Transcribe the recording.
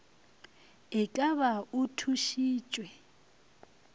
e ka ba o thušitšwe